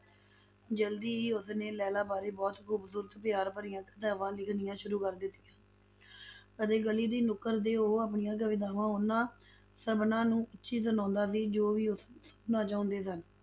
ਜਲਦੀ ਹੀ ਉਸਨੇ ਲੈਲਾ ਬਾਰੇ ਬਹੁਤ ਖ਼ੂਬਸੂਰਤ ਪਿਆਰ ਭਰੀਆਂ ਕਵਿਤਾਵਾਂ ਲਿਖਣੀਆਂ ਸ਼ੁਰੂ ਕਰ ਦਿੱਤੀਆਂ ਅਤੇ ਗਲੀ ਦੀ ਨੁੱਕਰ ਤੇ ਉਹ ਆਪਣੀ ਕਵਿਤਾਵਾਂ ਉਹਨਾਂ ਸਭਨਾਂ ਨੂੰ ਉੱਚੀ ਸੁਣਾਉਂਦਾ ਸੀ, ਜੋ ਵੀ ਉਸਨੂੰ ਸੁਨਣਾ ਚਾਹੁੰਦੇ ਸਨ,